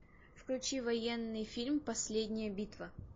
включи военный фильм последняя битва